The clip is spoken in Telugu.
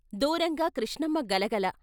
దూరంగా కృష్ణమ్మ గలగల.